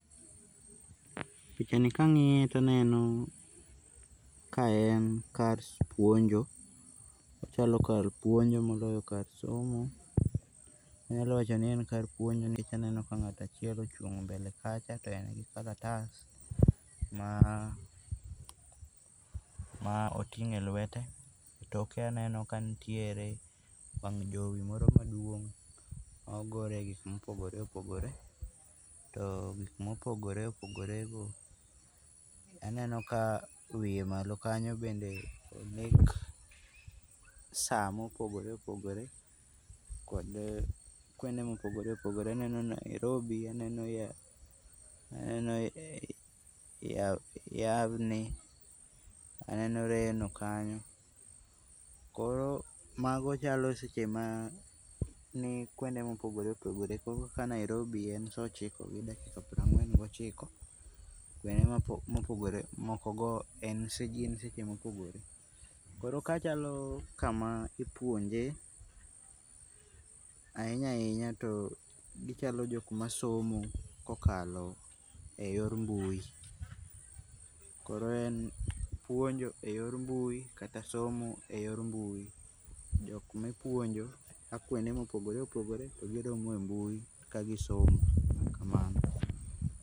Pichani kang'iye taneno kaen kar puonjo, ochalo kar puonjo moloyo kar somo. Anyalo wacho ni en kar puonjo nikech aneno ka ng'ato achiel ochung' mbele kacha to en gikalatas maa ma oting'o eluete, toke aneno kanitiere wang' jowi moro maduong' ma ogorie gik mopogore opogore, to gik mopogore opogorego, aneno kawiye malo kanyo bende ondik saa mopogore opogore togi kuonde mopogore opogore. Aneno Nairobi, aneno Yyyyawni aneno Reno kanyo, koro mago chalo seche maa nikuonde mopogore opogore, koro kaka ka Nairobi en saa ochiko gi dakika piero ang'wen gi ochiko, bende mopogore mokogo . K